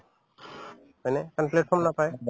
হয়নে কাৰণ platform নাপায়